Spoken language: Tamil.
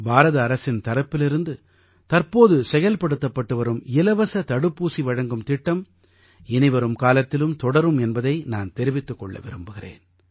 பாரத அரசின் தரப்பிலிருந்து தற்போது செயல்படுத்தப்பட்டு வரும் இலவசத் தடுப்பூசி வழங்கும் திட்டம் இனிவரும் காலத்திலும் தொடரும் என்பதை நான் தெரிவித்துக் கொள்ள விரும்புகிறேன்